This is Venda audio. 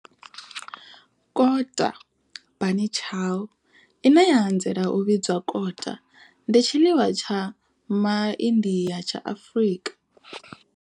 Kota bunny chow, ine ya anzela u vhidzwa kota, ndi tshiḽiwa tsha MaIndia tsha Afrika.